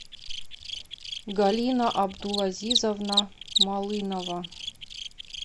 галина абдулазизовна малынова